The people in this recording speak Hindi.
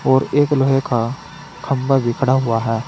और एक लोहे का खंबा भी खडा हुआ है।